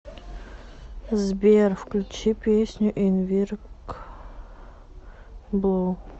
сбер включи песню инвинсибл